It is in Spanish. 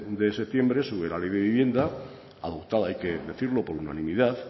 de septiembre sobre la ley de vivienda adoptada hay que decirlo por unanimidad